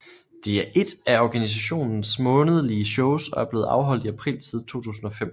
Det er ét af organisationens månedlige shows og er blevet afholdt i april siden 2005